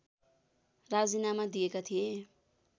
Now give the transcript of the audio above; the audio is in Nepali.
राजीनामा दिएका थिए